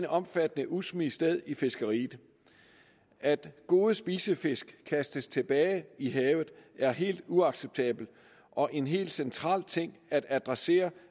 omfattende udsmid sted i fiskeriet at gode spisefisk kastes tilbage i havet er helt uacceptabelt og en helt central ting at adressere